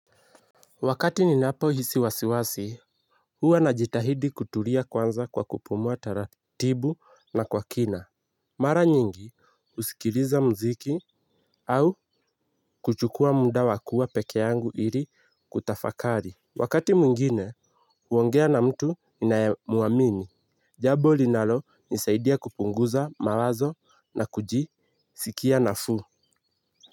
Wakati ninapohisi wasiwasi, huwa najitahidi kutulia kwanza kwa kupumua taratibu na kwa kina. Mara nyingi usikiliza mziki au kuchukua muda wa kuwa peke yangu ili kutafakari. Wakati mwingine, huongea na mtu ninayemuamini. Jabo linalonisaidia kupunguza mawazo na kujisikia nafuu.